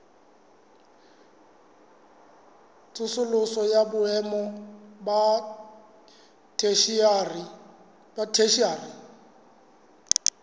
tsosoloso ya boemo ba theshiari